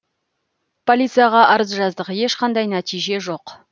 полицияға арыз жаздық ешқандай нәтиже жоқ